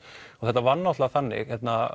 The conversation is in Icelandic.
þetta var náttúrulega þannig og